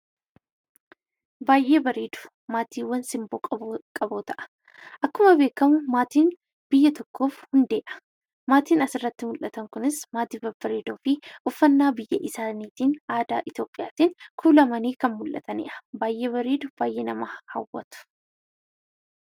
Baay'ee bareedu, maatiiwwaan simboo qaboota'aa. akkuma beekamu maatiin biyya tokkof hundeedha. maatiin asirratti mul'atan kunis maatii babbareedoo fi uffanna biyya isaaniitin aadaa Itiyoopilhiyaatiin kuulamani kan mul'atanidha. baay'ee bareedu, baay'ee nama hawwatu.